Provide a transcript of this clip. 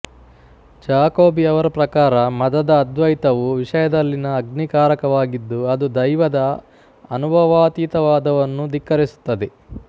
Jacobi ಅವರ ಪ್ರಕಾರ ಮದದ ಅದ್ವೈತವು ವಿಷಯದಲ್ಲಿನ ಅಗ್ನಿಕಾರಕವಾಗಿದ್ದು ಅದು ದೈವದ ಅನುಭವಾತೀತವಾದವನ್ನು ಧಿಕ್ಕರಿಸುತ್ತದೆ